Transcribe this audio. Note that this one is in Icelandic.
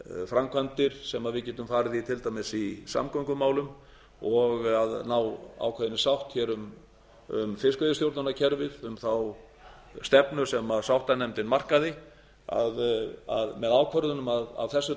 framkvæmdir sem við getum farið í til dæmis í samgöngumálum og að ná ákveðinni sátt um fiskveiðistjórnarkerfið um þá stefnu sem sáttanefndin markaði með ákvörðunum af þessu